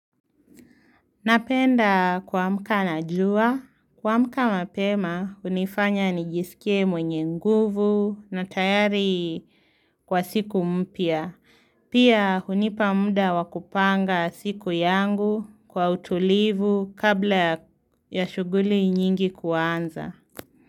Napenda kuamka na jua, kuamka mapema hunifanya nijisikie mwenye nguvu na tayari kwa siku mpya. Pia hunipa muda wa kupanga siku yangu kwa utulivu kabla ya shuguli nyingi kuanza.